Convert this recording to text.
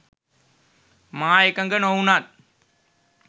මා එකග නොවුණත්